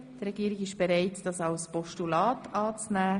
Die Regierung ist bereit, den Vorstoss als Postulat anzunehmen.